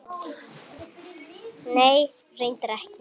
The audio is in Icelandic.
Nei, reyndar ekki.